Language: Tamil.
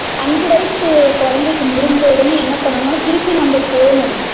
அஞ்சி வயசு குழந்தைக்கு முடுஞ்சவுடனே என்ன பண்ணணும்ன திருப்பி நம்ம போனும்